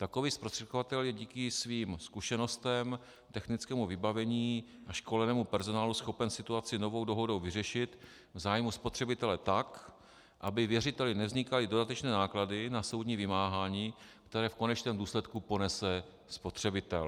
Takový zprostředkovatel je díky svým zkušenostem, technickému vybavení a školenému personálu schopen situaci novou dohodou vyřešit v zájmu spotřebitele tak, aby věřiteli nevznikaly dodatečné náklady na soudní vymáhání, které v konečném důsledku ponese spotřebitel.